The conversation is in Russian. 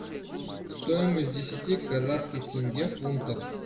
стоимость десяти казахских тенге в фунтах